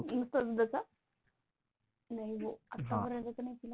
नुसतं दूध चा नाही हो आतापर्यंतच नाही पिला.